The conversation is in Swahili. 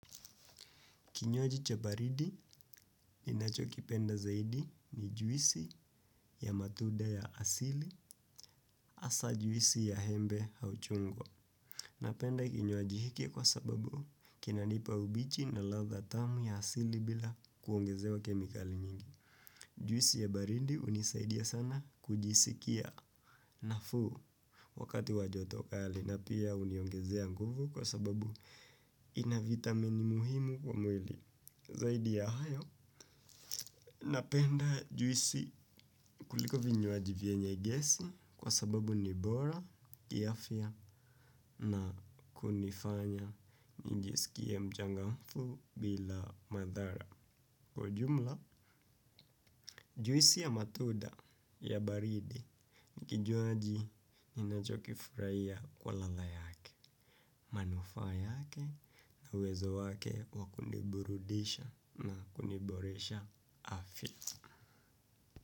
Kinywaji cha baridi ninachokipenda zaidi ni juisi ya matunda ya asili hasa juisi ya embe au chungwa. Napenda kinywaji hiki kwa sababu kinanipa ubichi na ladha tamu ya asili bila kuongezewa kemikali nyingi. Juisi ya baridi hunisaidia sana kujisikia nafuu wakati wa joto kali na pia huniongezea nguvu kwa sababu ina vitamini muhimu kwa mwili. Zaidi ya hayo, napenda juisi kuliko vinywaji vyenye gesi kwa sababu ni bora, kiafya na kunifanya nijisikie mchangamfu bila madhara. Kwa jumla, juisi ya matunda ya baridi, kinywaji ninachokifurahia kwa ladha yake, manufaa yake na uwezo wake wa kuniburudisha na kuniboresha afya.